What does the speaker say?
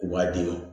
U b'a d'i ma